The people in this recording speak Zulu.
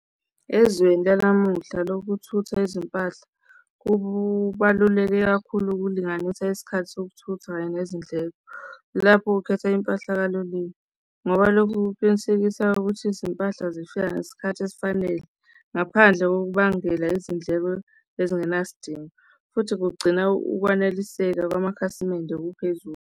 Ezweni lanamuhla lokuthutha izimpahla, kubaluleke kakhulu ukulinganisa isikhathi sokuthutha kanye nezindleko, lapho ukhetha impahla kaloliwe ngoba loku kuqinisekisa ukuthi izimpahla zifika ngesikhathi esifanele ngaphandle kokubangela izindleko ezingenasidingo futhi kugcina ukwaneliseka kwamakhasimende okuphezulu.